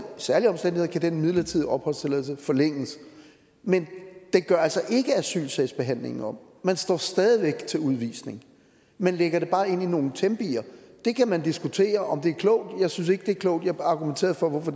særlige omstændigheder kan den midlertidige opholdstilladelse forlænges men det gør altså ikke asylsagsbehandlingen om man står stadig væk til udvisning man lægger det bare ind i nogle tempi det kan man diskutere om er klogt jeg synes ikke det er klogt jeg argumenterede for hvorfor